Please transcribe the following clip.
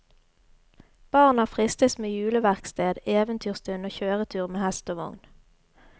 Barna fristes med juleverksted, eventyrstund og kjøretur med hest og vogn.